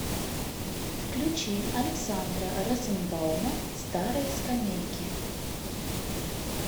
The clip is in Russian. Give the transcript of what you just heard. включи александра розенбаума старые скамейки